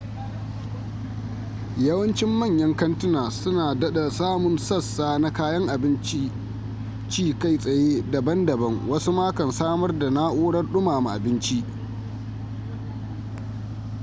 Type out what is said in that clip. yawancin manyan kantuna su na dada samun sassa na kayan abincin ci kai tsaye daban daban wasu ma kan samar da na'urar dumama abinci